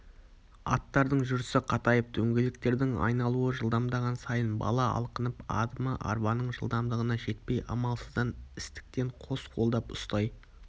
аттардың жүрісі қатайып дөңгелектердің айналуы жылдамдаған сайын бала алқынып адымы арбаның жылдамдығына жетпей амалсыздан істіктен қос қолдап ұстай